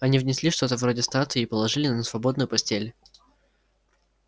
они внесли что-то вроде статуи и положили на свободную постель